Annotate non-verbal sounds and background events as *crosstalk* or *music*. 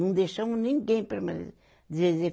Não deixamos ninguém *unintelligible*